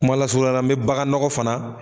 Kuma lasurunyala me bagan nɔgɔ fana